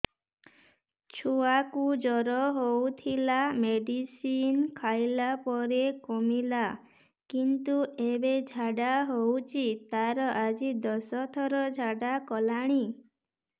ଛୁଆ କୁ ଜର ହଉଥିଲା ମେଡିସିନ ଖାଇଲା ପରେ କମିଲା କିନ୍ତୁ ଏବେ ଝାଡା ହଉଚି ତାର ଆଜି ଦଶ ଥର ଝାଡା କଲାଣି